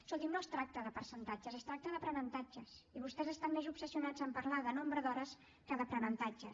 escolti’m no es tracta de percentatges es tracta d’aprenentatges i vostès estan més obsessionats en parlar de nombre d’hores que d’aprenentatges